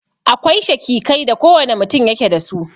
Akwai shakikai da kowane mutun yake da su.